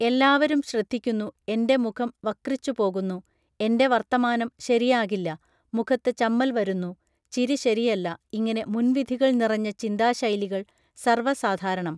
എല്ലാവരും ശ്രദ്ധിക്കുന്നു എൻറെ മുഖം വക്രിച്ചുപോകുന്നു എൻറെ വർത്തമാനം ശരിയാകില്ല മുഖത്ത് ചമ്മൽ വരുന്നു ചിരി ശരിയല്ല ഇങ്ങനെ മുൻവിധികൾ നിറഞ്ഞ ചിന്താശൈലികൾ സർവസാധാരണം